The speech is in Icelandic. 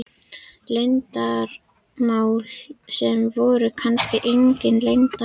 Leyndarmálum sem voru kannski engin leyndarmál.